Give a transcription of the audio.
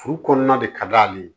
Furu kɔnɔna de ka d'ale ye